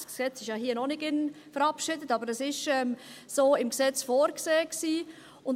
Das Gesetz ist ja hier noch nicht verabschiedet, aber dies wäre im Gesetz so vorgesehen gewesen.